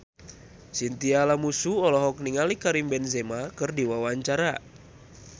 Chintya Lamusu olohok ningali Karim Benzema keur diwawancara